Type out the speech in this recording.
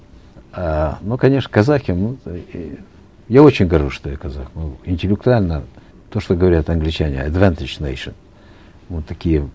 эээ ну конечно казахи я очень горжусь что я казах мы интеллектуально то что говорят англичане эдвентедж нэйшен вот такие